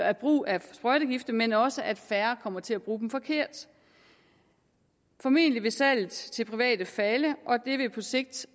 af brug af sprøjtegifte men også at færre kommer til at bruge dem forkert formentlig vil salget til private falde og det vil på sigt